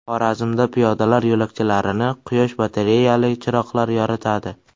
Xorazmda piyodalar yo‘lakchalarini quyosh batareyali chiroqlar yoritadi.